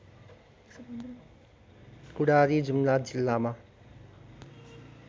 कुडारी जुम्ला जिल्लामा